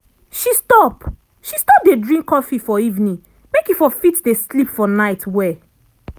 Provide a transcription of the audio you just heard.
she stop she stop dey drink coffee for evening make e for fit dey sleep for night well.